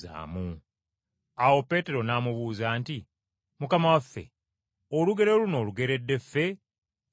Awo Peetero n’amubuuza nti, “Mukama waffe, olugero luno olugeredde ffe, oba bonna?”